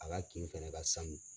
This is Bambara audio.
A ka kin fɛnɛ ka sanu.